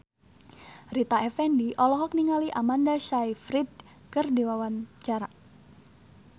Rita Effendy olohok ningali Amanda Sayfried keur diwawancara